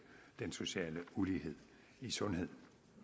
den sociale ulighed i sundheden